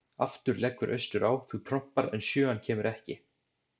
Aftur leggur austur á, þú trompar, en sjöan kemur ekki.